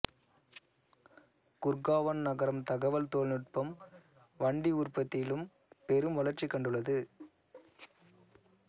குர்காவன் நகரம் தகவல் தொழில்நுட்பம் வண்டி உற்பத்தியிலும் பெரும் வளர்ச்சி கண்டுள்ளது